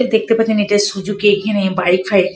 এই দেখতে পাচ্ছেন এটা সুজুকি এখানে বাইক ফাইক।